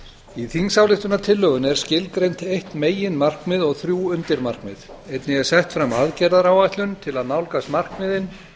í þingsályktunartillögunni er skilgreint eitt meginmarkmið og þrjú undirmarkmið einnig er sett fram aðgerðaáætlun til að nálgast markmiðin